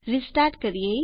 restart કરીએ